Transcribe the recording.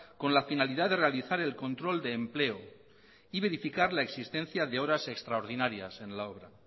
con la finalidad de realizar el control de empleo y verificar la existencia de horas extraordinarias en la obra